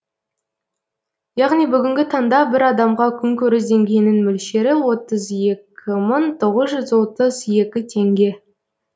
яғни бүгінгі таңда бір адамға күнкөріс деңгейінің мөлшері отыз екі мың тоғыз жүз отыз екі теңге